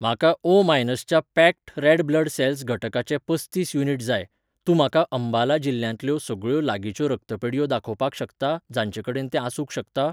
म्हाका ओ मायनसच्या packed red blood cells घटकाचे पस्तीस युनिट जाय, तूं म्हाका अंबाला जिल्ल्यांतल्यो सगळ्यो लागींच्यो रक्ढीतपेढयो दाखोवपाक शकता जांचे कडेन तें आसूंक शकता?